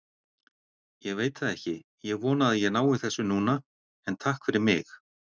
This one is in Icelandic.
Ég veit það ekki, ég vona að ég nái þessu núna, en takk fyrir mig.